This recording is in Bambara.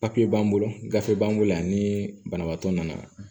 Papiye b'an bolo gafe b'an bolo yan ni banabaatɔ nana